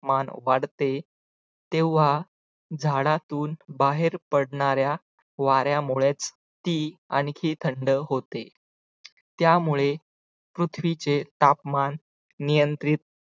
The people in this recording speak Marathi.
मान वाढते तेव्हा झाडातून बाहेर पडणाऱ्या वाऱ्यामुळेच ती आणखी थंड होते त्यामुळे पृथ्वीचे तापमान नियंत्रित